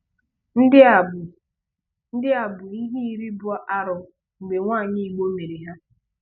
Ndị a bụ Ndị a bụ ihe iri bụ arụ mgbe nwanyị Igbo mere ha.